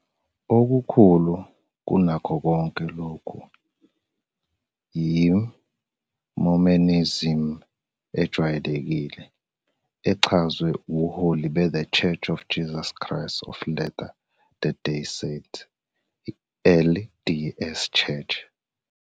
Okukhulu kunakho konke lokhu yi "Mormonism ejwayelekile", echazwe ubuholi beThe Church of Jesus Christ of Latter-day Saints, LDS Church.